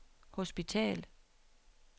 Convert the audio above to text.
hospital